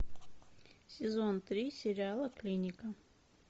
сезон три сериала клиника